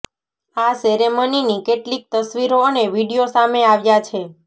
આ સેરેમનીની કેટલીક તસવીરો અને વીડિયો સામે આવ્યાં છે